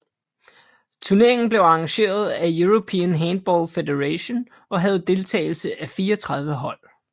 Turneringen blev arrangeret af European Handball Federation og havde deltagelse af 34 hold